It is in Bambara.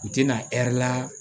U tɛna ɛri la